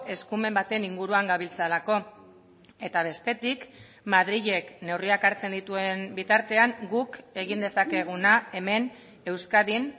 eskumen baten inguruan gabiltzalako eta bestetik madrilek neurriak hartzen dituen bitartean guk egin dezakeguna hemen euskadin